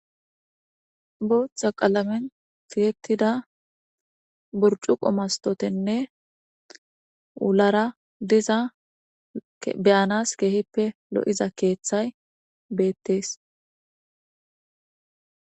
Boththa qallamen tiyetidda burichuqqe masitiwathenne wulara dizza be'anas keehippe lo'izza keththay bettes.